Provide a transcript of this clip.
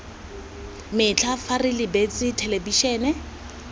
metlha fa re lebeletse thelebišene